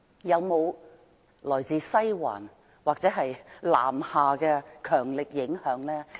有沒有來自"西環"或南下的強力影響？